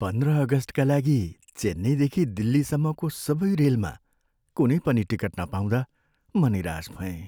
पन्ध्र अगस्टका लागि चेन्नईदेखि दिल्लीसम्मको सबै रेलमा कुनै पनि टिकट नपाउँदा म निराश भएँ।